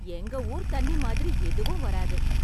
எங்க ஊர் தண்ணி மாதிரி எதுவும் வராது